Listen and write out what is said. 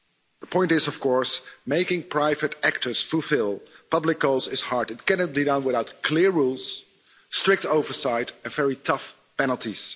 The point is, of course, that making private actors fulfil public roles is hard. It cannot be done without clear rules, strict oversight and very tough penalties.